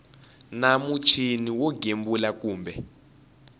na muchini wo gembula kumbe